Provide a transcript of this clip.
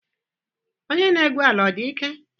Onye na-egwu ala ọ dị ike?